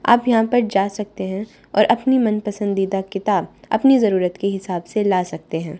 आप यहां पर जा सकते हैं और अपनी मन पसंदीदा किताब अपनी जरूरत के हिसाब से ला सकते हैं।